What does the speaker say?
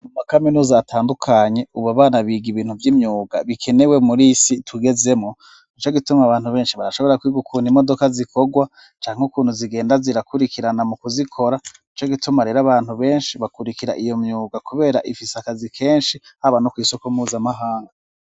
Mu makaminuza atandukanye ubu abana biga ibintu by'imyuga bikenewe muri isi tugezemo nico gituma abantu benshi barashobora kwigukunta imodoka zikogwa canke ukuntu zigenda zirakurikirana mu kuzikora nico gituma rero abantu benshi bakurikira iyo myuga kubera ifise akazi kenshi haba no ku isoko mpuzamahanga.